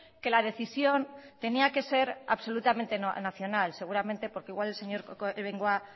que la decisión tenía que ser absolutamente nacional seguramente porque igual el señor bengoa